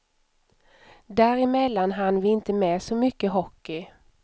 Där emellan hann vi inte med så mycket hockey.